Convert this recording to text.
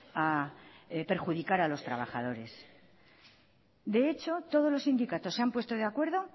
a perjudicar a los trabajadores de hecho todos los sindicatos se han puesto de acuerdo